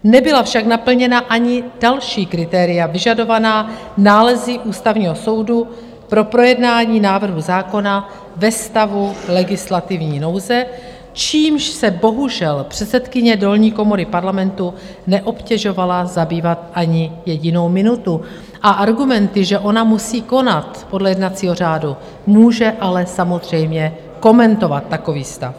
Nebyla však naplněna ani další kritéria vyžadovaná nálezy Ústavního soudu pro projednání návrhu zákona ve stavu legislativní nouze, čímž se bohužel předsedkyně dolní komory Parlamentu neobtěžovala zabývat ani jedinou minutu, a argumenty, že ona musí konat podle jednacího řádu - může ale samozřejmě komentovat takový stav.